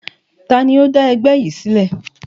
Taàní ó dá ẹgbẹ́ yìí sílẹ̀?